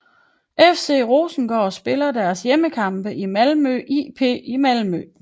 FC Rosengård spiller deres hjemmekampe i Malmö IP i Malmö